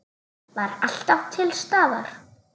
Var alltaf til staðar.